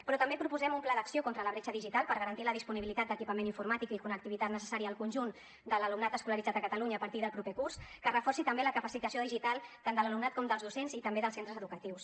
però també proposem un pla d’acció contra la bretxa digital per garantir la disponibilitat d’equipament informàtic i la connectivitat necessària al conjunt de l’alumnat escolaritzat a catalunya a partir del proper curs que reforci també la capacitació digital tant de l’alumnat com dels docents i també dels centres educatius